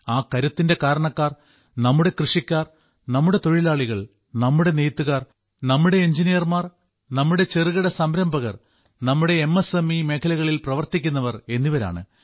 ആ കരുത്തിന്റെ കാരണക്കാർ നമ്മുടെ കൃഷിക്കാർ നമ്മുടെ തൊഴിലാളികൾ നമ്മുടെ നെയ്ത്തുകാർ നമ്മുടെ എഞ്ചിനീയർമാർ നമ്മുടെ ചെറുകിട സംരംഭകർ നമ്മുടെ എം എസ് എം ഇ മേഖലകളിൽ പ്രവർത്തിക്കുന്നവർ എന്നിവരാണ്